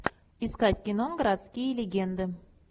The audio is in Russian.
искать кино городские легенды